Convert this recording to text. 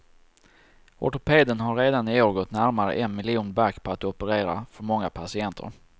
Ortopeden har redan i år gått närmare en miljon back på att operera för många patienter.